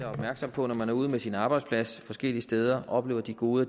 opmærksomme på når man er ude med sin arbejdsplads forskellige steder og oplever de goder